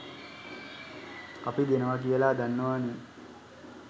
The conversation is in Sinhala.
අපි දෙනව කියල දන්නවනේ.